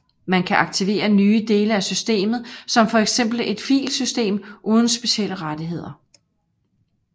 Man kan aktivere nye dele af systemet som for eksempel et filsystem uden specielle rettigheder